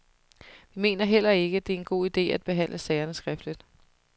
Vi mener heller ikke, det er en god ide at behandle sagerne skriftligt.